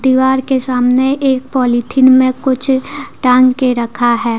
दीवार के सामने एक पॉलिथीन में कुछ टांग के रखा है।